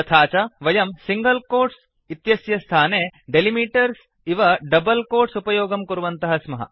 तथा च वयं सिङ्गल् कोट्स् इत्यस्य स्थाने डेलिमिटर्स् डीलिमिटर्स् इव डबल् कोट्स् उपयोगं कुर्वन्तः स्मः